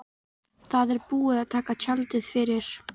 Það er búið að draga tjaldið fyrir.